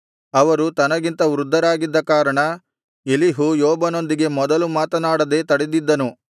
ಅವರು ತನಗಿಂತ ವೃದ್ಧರಾಗಿದ್ದ ಕಾರಣ ಎಲೀಹು ಯೋಬನೊಂದಿಗೆ ಮೊದಲು ಮಾತನಾಡದೆ ತಡೆದಿದ್ದನು